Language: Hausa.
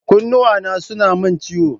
Kunnuwana suna min ciwo.